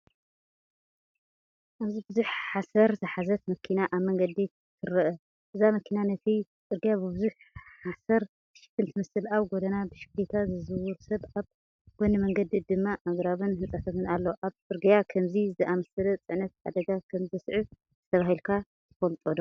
ኣብዚ ብዙሕ ሓሰር ዝሓዘት መኪና ኣብ መንገዲ ትረአ። እዛ መኪና ነቲ ጽርግያ ብብዙሕ ሓሰር ትሽፍን ትመስል። ኣብ ጎድና ብሽክለታ ዝዝውር ሰብ ኣብ ጎኒ መንገዲ ድማ ኣግራብን ህንጻታትን ኣሎ። ኣብ ጽርግያ ከምዚ ዝኣመሰለ ጽዕነት ሓደጋ ከም ዘስዕብ ኣስተብሂልካ ትፈልጥዶ?